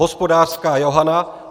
Hospodářská Johana